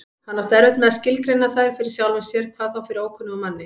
Hann átti erfitt með að skilgreina þær fyrir sjálfum sér, hvað þá fyrir ókunnugum manni.